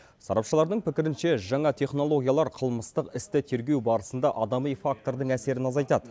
сарапшылардың пікірінше жаңа технологиялар қылмыстық істі тергеу барысында адами фактордың әсерін азайтады